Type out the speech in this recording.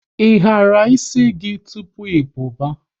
Ị hara ịsị gị tụpụ ị puba?